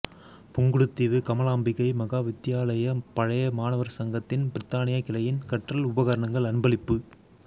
புங்குடுதீவு கமலாம்பிகை மகா வித்தியாலய பழைய மாணவர் சங்கத்தின் பிரித்தானிய கிளையின் கற்றல் உபகரணங்கள் அன்பளிப்பு